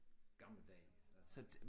Gammeldags altså